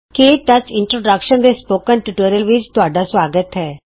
ਕੇ touch introduction ਦੇ spoken tutorial ਵਿੱਚ ਆਪ ਦਾ ਸੁਆਗਤ ਹੈ